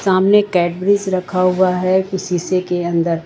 सामने कैडबरीज रखा हुआ है शीशे के अंदर।